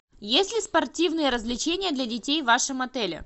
есть ли спортивные развлечения для детей в вашем отеле